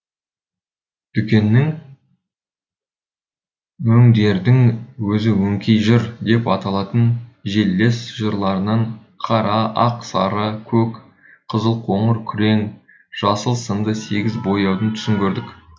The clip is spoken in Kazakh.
дүкеннің өңдердің өзі өңкей жыр деп аталатын желілес жырларынан қара ақ сары көк қызыл қоңыр күрең жасыл сынды сегіз бояудың түсін көрдік